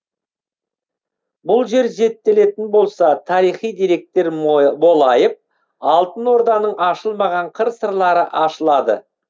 бұл жер зерттелетін болса тарихи деректер молайып алтын орданың ашылмаған қыр сырлары ашылады